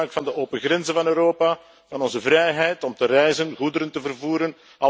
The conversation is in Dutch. Ze maakten gebruik van de open grenzen van Europa, van onze vrijheid om te reizen en goederen te vervoeren.